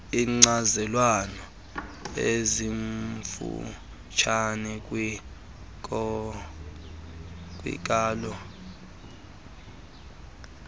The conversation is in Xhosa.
iinkcazelwana ezimfutshane kwiinkalo